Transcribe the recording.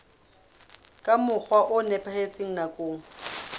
ka mokgwa o nepahetseng nakong